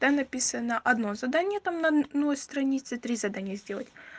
там написано одно задание там на одной странице там три задания сделать